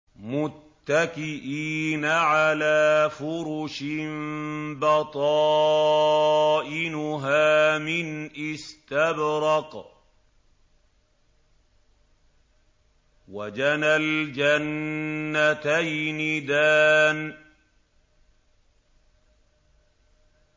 مُتَّكِئِينَ عَلَىٰ فُرُشٍ بَطَائِنُهَا مِنْ إِسْتَبْرَقٍ ۚ وَجَنَى الْجَنَّتَيْنِ دَانٍ